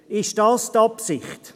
Ist dies die Absicht?